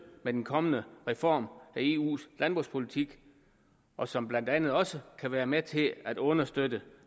med den kommende reform af eus landbrugspolitik og som blandt andet også kan være med til at understøtte